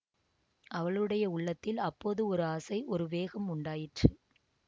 அவளுடைய உள்ளத்தில் அப்போது ஒரு ஆசை ஒரு வேகம் உண்டாயிற்று